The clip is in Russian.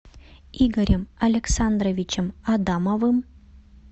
игорем александровичем адамовым